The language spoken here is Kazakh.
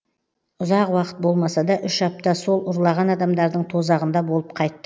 ұзақ уақыт болмаса да үш апта сол ұрлаған адамдардың тозағында болып қайт